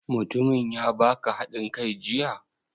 Mutumin ya baka haɗin kai jiya?